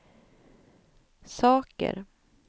saker